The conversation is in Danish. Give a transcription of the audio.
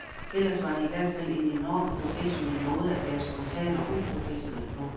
Ellers var det ihvertfald en enormt professionel måde at være spontan og uprofessionel på.